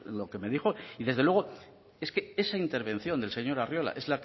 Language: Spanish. lo que me dijo y desde luego es que esa intervención del señor arriola es